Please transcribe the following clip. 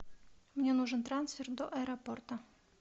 мне нужен трансфер до аэропорта